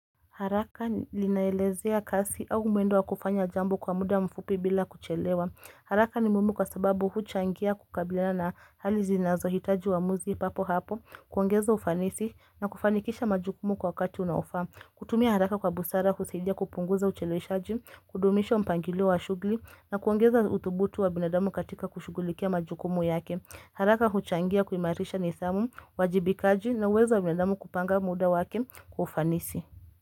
Haraka linaelezea kasi au mwendo wa kufanya jambo kwa muda mfupi bila kuchelewa. Haraka ni muhimu kwa sababu huchangia kukabilana hali zinazohitaji uamuzi papo hapo, kuongeza ufanisi na kufanikisha majukumu kwa wakati unaofaa. Kutumia haraka kwa busara kusaidia kupunguza ucheleweshaji, kudumisha mpangilio wa shughli na kuongeza uthubutu wa binadamu katika kushugulikia majukumu yake. Haraka huchangia kuimarisha nidhamu, uwajibikaji na awesome wa binadamu kupanga muda wake kwa ufanisi.